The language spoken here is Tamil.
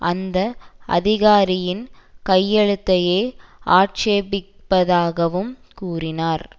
அந்த அதிகாரியின் கையெழுத்தையே ஆட்சேபிப்பதாகவும் கூறினார்